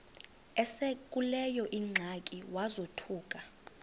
esekuleyo ingxaki wazothuka